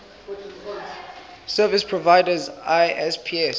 service providers isps